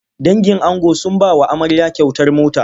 Dangin ango sun ba wa amarya kyautar mota.